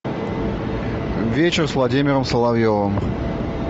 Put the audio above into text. вечер с владимиром соловьевым